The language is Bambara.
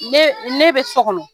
Ne ne bɛ so kɔnɔ.